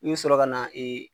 I bi sɔrɔ ka na ee